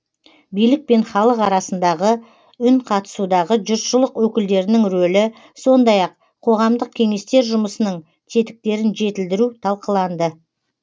билік пен халық арасындағы үнқатысудағы жұртшылық өкілдерінің рөлі сондай ақ қоғамдық кеңестер жұмысының тетіктерін жетілдіру талқыланды